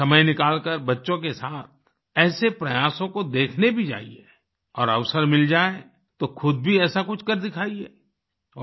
कभी समय निकलकर बच्चों के साथ ऐसे प्रयासों को देखने भी जाइए और अवसर मिल जाये तो खुद भी ऐसा कुछ कर दिखाइए